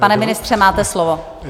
Pane ministře, máte slovo.